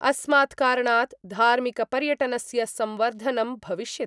अस्मात् कारणात् धार्मिकपर्यटनस्य संवर्धनं भविष्यति।